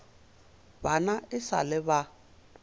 bana e sa le ba